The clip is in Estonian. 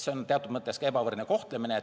See on teatud mõttes ka ebavõrdne kohtlemine.